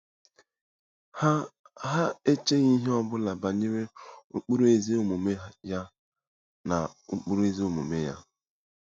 Ha Ha echeghị ihe ọ bụla banyere ụkpụrụ ezi omume ya na ụkpụrụ ezi omume ya.